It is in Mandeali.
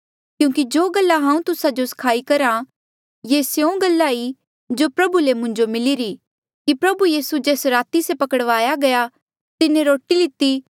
क्यूंकि जो गल्ला हांऊँ तुस्सा जो सखाई करहा ये स्यों गल्ला ई जो प्रभुए ले मुंजो मिलिरी कि प्रभु यीसू जेस राती से पकड़या गया तिन्हें रोटी लिती